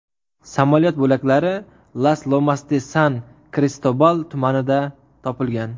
Samolyot bo‘laklari Las-Lomas-de-San-Kristobal tumanida topilgan.